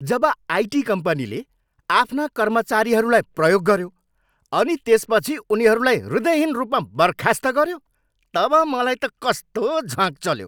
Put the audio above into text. जब IT कम्पनीले आफ्ना कर्मचारीहरूलाई प्रयोग गऱ्यो अनि त्यसपछि उनीहरूलाई हृदयहीन रूपमा बर्खास्त गऱ्यो तब मलाई त कस्तो झ्वाँक् चल्यो।